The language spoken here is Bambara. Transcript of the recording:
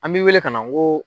An bɛ wele ka na n ko.